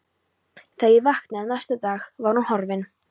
Þegar ég vaknaði næsta dag var hún horfin.